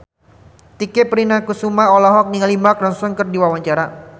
Tike Priatnakusuma olohok ningali Mark Ronson keur diwawancara